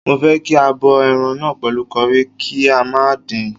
Mo fẹ́ kí a bọ ẹran náà pẹ̀lú curry, kí a má dín-in..